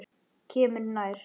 Kemur nær.